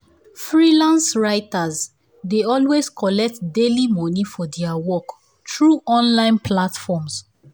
freelance writers dey always collect daily moni for their work through online platforms.